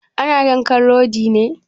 Ana yanka rodi ne?